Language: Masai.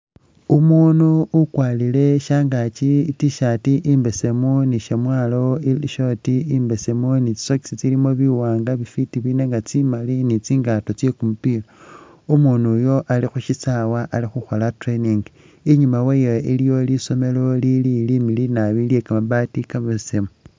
Umunu ukwalile shangakyi i tshirt imbesemu ni shamwalo ili short imbesemu Ni tsi sokisi tsilimo biwanga bifiti biri nenga tsimali ni tsingato tse kumupila umunu Uyo khushisawa ali khukhola training inyuma wayo iliyo lisomelo lili limiliyu nabi lye kamabati kamebesemu .